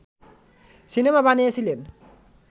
cinema বানিয়েছিলেন